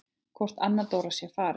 Hvort Anna Dóra sé farin.